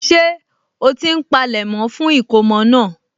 Ṣé ó ti ń polẹ̀mọ́ fún ìkómọ náà?